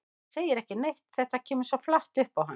Hún segir ekki neitt, þetta kemur svo flatt upp á hana.